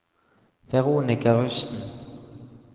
Veronika Rusten